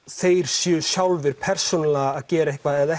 þeir séu persónulega að gera eitthvað eða